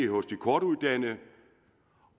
hos de kortuddannede